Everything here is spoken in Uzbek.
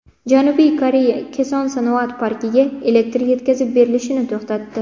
Janubiy Koreya Keson sanoat parkiga elektr yetkazib berilishini to‘xtatdi.